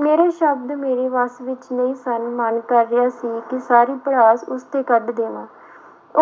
ਮੇਰੇ ਸ਼ਬਦ ਮੇਰੇ ਵੱਸ ਵਿੱਚ ਨਹੀਂ ਸਨ ਮਨ ਕਰ ਰਿਹਾ ਸੀ ਕਿ ਸਾਰੀ ਭੜਾਸ ਉਸ ਤੇ ਕੱਢ ਦੇਵਾਂ